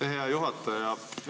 Aitäh, hea juhataja!